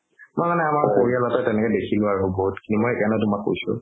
মই মানে আমাৰ পৰিয়ালতে দেখিলো আৰু বহুত খিনি মই সেইকাৰণে তুমাক কৈছো